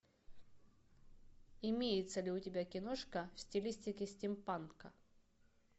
имеется ли у тебя киношка в стилистике стимпанка